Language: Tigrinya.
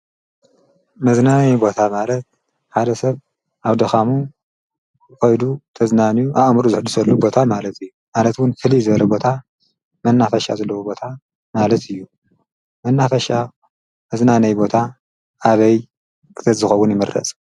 መዝናነይ ቦታ ማለት ሓደ ሰብ ኣብ ደኻሙ ኾይዱ ተዝናንዩ ኣእሙሩ ዘሕዱሰሉ ቦታ ማለት እዩ ማለትውን ህሊ ዘሪ ቦታ መናፈሻ ዘለዉ ቦታ ማለት እዩ መናፈሻ መዝናነይ ቦታ ኣበይ ክተዝኸውን ይምረሱ?